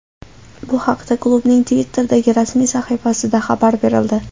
Bu haqda klubning Twitter’dagi rasmiy sahifasida xabar berildi .